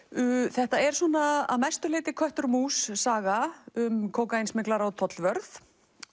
þetta er að mestu leyti köttur og mús saga um kókaínsmyglara og tollvörð